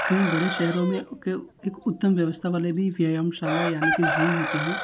कई बड़े शहरों में उके एक उत्तम व्यवस्था वाले भी व्यायाम शाला यानी की जिम होते हैं।